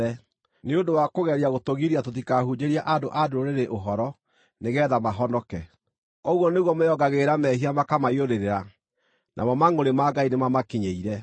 nĩ ũndũ wa kũgeria gũtũgiria tũtikahunjĩrie andũ-a-Ndũrĩrĩ ũhoro nĩgeetha mahonoke. Ũguo nĩguo meyongagĩrĩra mehia makamaiyũrĩrĩra. Namo mangʼũrĩ ma Ngai nĩmamakinyĩire.